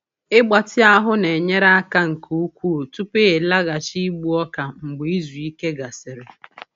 Ịgbatị ahụ na-enyere aka nke ukwuu tupu ịlaghachi igbu ọka mgbe izu ike gasịrị.